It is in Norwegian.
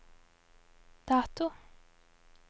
dato